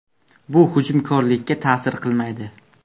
Bu hujumkorlikka ta’sir qilmaydi.